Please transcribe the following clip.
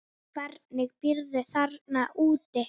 Hvernig býrðu þarna úti?